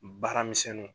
Baaramisɛnnu